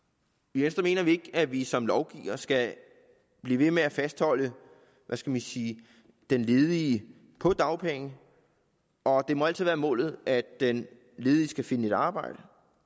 i venstre mener vi ikke at vi som lovgivere skal blive ved med at fastholde hvad skal man sige den ledige på dagpenge og det må altid være målet at den ledige skal finde et arbejde